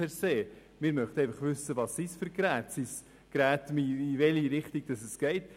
Wir möchten einfach wissen, was dies für Geräte sind und in welche Richtung es geht.